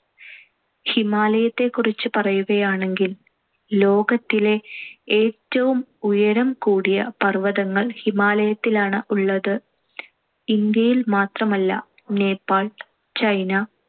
ഹിമാലയത്തെക്കുറിച്ച് പറയുകയാണെങ്കിൽ ലോകത്തിലെ ഏറ്റവും ഉയരം കൂടിയ പർ‌വതങ്ങൾ ഹിമാലയത്തിലാണ്‌ ഉള്ളത്. ഇന്ത്യയിൽ മാത്രമല്ല നേപ്പാൾ, ചൈന,